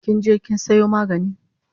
Kinje kin sayo magani?